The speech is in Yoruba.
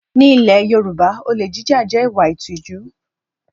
Ní ilẹ̀ Yorùbá, olè jíjà jẹ́ ìwà ìtìjú